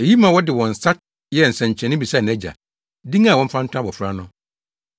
Eyi ma wɔde wɔn nsa yɛɛ nsɛnkyerɛnne bisaa nʼagya, din a wɔmfa nto abofra no.